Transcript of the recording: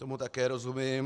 Tomu také rozumím.